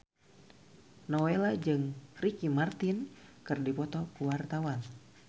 Nowela jeung Ricky Martin keur dipoto ku wartawan